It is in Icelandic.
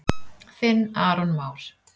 Þinn Aron Már.